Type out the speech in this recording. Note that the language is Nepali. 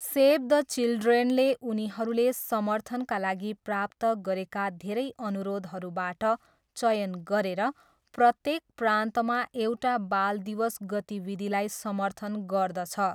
सेभ द चिल्ड्रेनले उनीहरूले समर्थनका लागि प्राप्त गरेका धेरै अनुरोधहरूबाट चयन गरेर, प्रत्येक प्रान्तमा एउटा बाल दिवस गतिविधिलाई समर्थन गर्दछ।